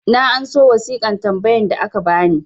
na anso wasiƙan tambayan da aka bani